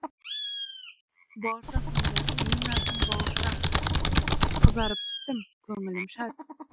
бауырсақ сонда менің атым бауырсақ қызарып пістім көңілім шат